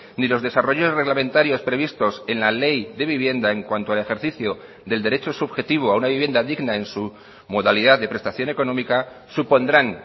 ni los desarrollos reglamentarios previstos en la ley de vivienda en cuanto al ejercicio del derecho subjetivo a una vivienda digna en su modalidad de prestación económica supondrán